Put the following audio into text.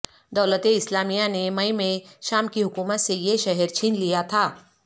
دولت اسلامیہ نے مئی میں شام کی حکومت سے یہ شہر چھین لیا تھا